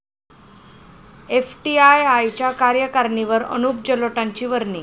एफटीआयआयच्या कार्यकारणीवर अनुप जलोटांची वर्णी